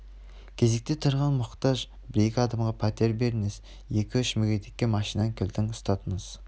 кезекте тұрған мұқтаж бір-екі адамға пәтер беріңіз екі-үш мүгедекке машинаның кілтін ұстатыңыз